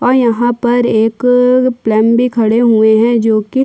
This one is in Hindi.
और यहाँ पर एक प्लेम भी खड़े हुए है जो कि--